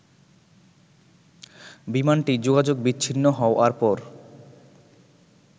বিমানটি যোগাযোগ বিচ্ছিন্ন হওয়ার পর